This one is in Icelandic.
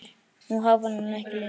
Nú háfar hann ekki lengur.